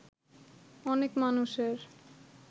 অনেক মানুষের